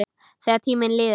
Þegar tíminn líður